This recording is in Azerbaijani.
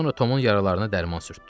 Sonra Tomun yaralarına dərman sürtdü.